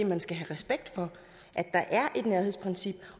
man skal have respekt for at der er et nærhedsprincip